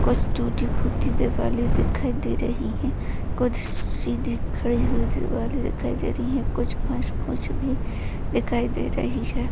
कुछ टूटी फूटी दिवाले दिखाई दे रही है कुछ सीधी खड़ी हुई दिवाले दिखाई दे रही है कुछ घास फूस भी दिखाई दे रही है।